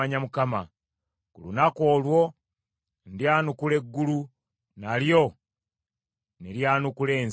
“Ku lunaku olwo, ndyanukula eggulu, nalyo ne lyanukula ensi;